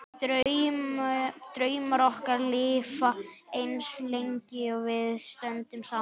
Draumar okkar lifa eins lengi og við stöndum saman.